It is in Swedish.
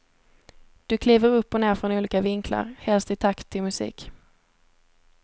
Du kliver upp och ner från olika vinklar, helst i takt till musik.